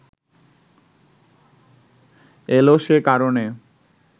এলো সে কারণে